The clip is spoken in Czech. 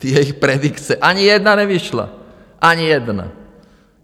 Ty její predikce, ani jedna nevyšla, ani jedna.